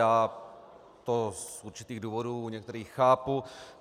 Já to z určitých důvodů u některých chápu.